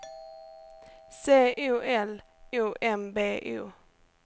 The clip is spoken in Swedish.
C O L O M B O